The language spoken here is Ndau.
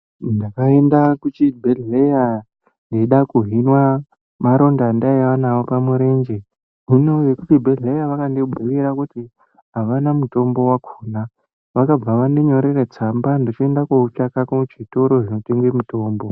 Ndakaenda kuchibhehlera ndichida kuhinwa maronda andaiva nawo pamurenje, zvino vekuchibhehleya akandibuyira kuna ahana mitombo akandinyorera tsamba ndochondoutsvaka kuzvitoro zvinotengese mutombo.